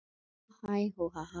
En þá hlær hún bara.